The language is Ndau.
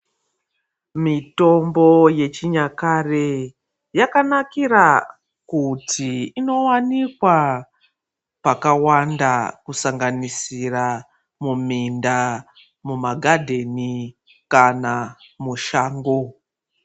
Mitombo yechinyakare kuti inowanikwa pakawanda kusanganisira muminda mumagadheni kana mushango.